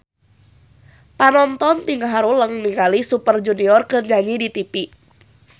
Panonton ting haruleng ningali Super Junior keur nyanyi di tipi